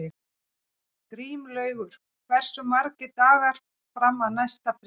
Grímlaugur, hversu margir dagar fram að næsta fríi?